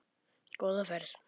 Góða ferð,